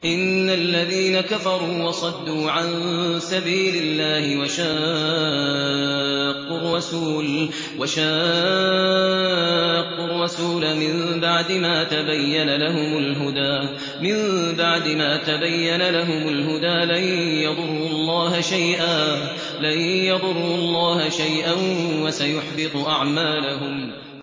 إِنَّ الَّذِينَ كَفَرُوا وَصَدُّوا عَن سَبِيلِ اللَّهِ وَشَاقُّوا الرَّسُولَ مِن بَعْدِ مَا تَبَيَّنَ لَهُمُ الْهُدَىٰ لَن يَضُرُّوا اللَّهَ شَيْئًا وَسَيُحْبِطُ أَعْمَالَهُمْ